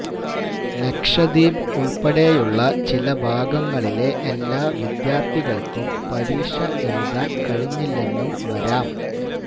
ലക്ഷദ്വീപ് ഉള്പ്പെടെയുള്ള ചിലഭാഗങ്ങളിലെ എല്ലാ വിദ്യാര്ത്ഥികള്ക്കും പരീക്ഷ എഴുതാന് കഴിഞ്ഞില്ലെന്നും വരാം